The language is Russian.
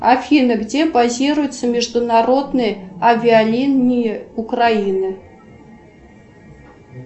афина где базируются международные авиалинии украины